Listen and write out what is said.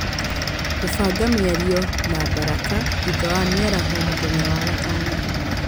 kũbanga mĩario na baraka thutha wa mĩaraho mũthenya wa gatano